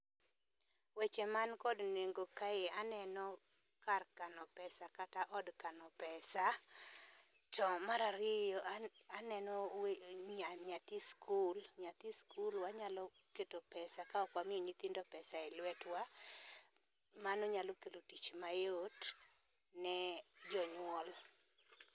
Weche man kod nengo kae aneno kar kano pesa kata od kano pesa to mar ariyo aneno nyathi skul. Nyathi skul wanyalo keto pesa ka ok wamiyo nyithindo pesa e lwetwa. Mano nyalo kelo tich mayot ne jonyuol.